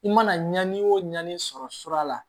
I mana ɲanni o ɲani sɔrɔ sura la